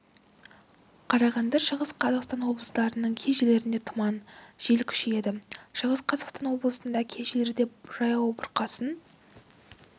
қарағанды шығыс қазақстан облыстарының кей жерлерінде тұман жел күшейеді шығыс қазақстан облысында кей жерлерде жаяу бұрқасын